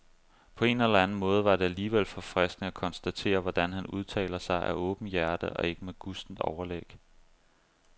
På en eller anden måde var det alligevel forfriskende at konstatere, hvordan han udtaler sig af åbent hjerte og ikke med gustent overlæg.